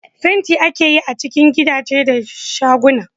Fenti ake yi a cikin gidaje da shaguna